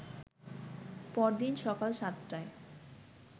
পরদিন সকাল সাতটায়